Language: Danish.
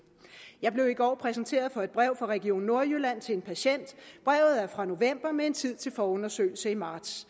jeg blev i går præsenteret for et brev fra region nordjylland til en patient brevet er fra november med en tid til forundersøgelse i marts